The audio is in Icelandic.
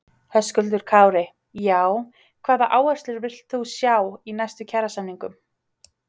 Höskuldur Kári: Já, hvaða áherslur villt þú sjá í næstu kjarasamningum?